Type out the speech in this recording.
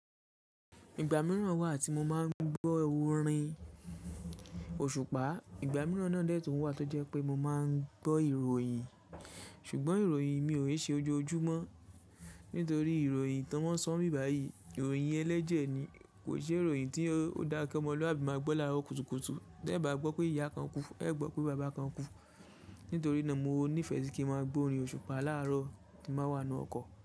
Ìgbà mìíràn wà tí mo máa ń gbọ́ orin òṣùpá. Ìgbà mìíràn náà dẹ́tùn wà tó jẹ́ pé mo máa ń gbọ́ ìròyìn. Ṣùgbọ́n ìròyìn mi ò ń ṣe òjò júmọ́. Nítorí ìròyìn tó mọ́n sọ ń bí bàyìí, ìròyìn ẹlẹ́jẹ̀ ni. Kò ń ṣe ìròyìn tí ó dá kí ọmọlúàbí máa gbọ́ láàárọ̀ kùtùkùtù. Tẹ́ ba gbọ́ pé ìyá kan kú, ẹ gbọ́ pé bàbá kan kú. Nítorí náà mo nífẹ̀ẹ́ sí kí n máa gbọ́ orin òṣùpá láàárọ̀ tí m bá wà nú ọkọ̀